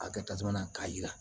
A kɛ tasuma na k'a jira